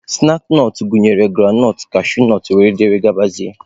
Snaakị nọt gụnyere granọt, kashunọt wdg.